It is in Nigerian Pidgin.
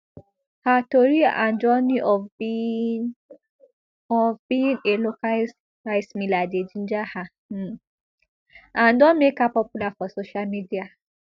her tori and journey of being of being a local rice miller dey ginger her um and don make her popular for social media